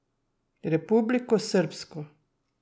Republiko srbsko.